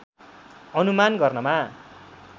अनुमान गर्नमा